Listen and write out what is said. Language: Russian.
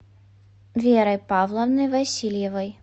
верой павловной васильевой